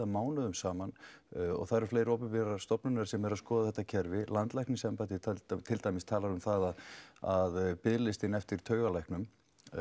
mánuðum saman það eru fleiri opinberar stofnanir sem eru að skoða þetta kerfi landlæknisembættið til dæmis talar um það að biðlistinn eftir taugalæknum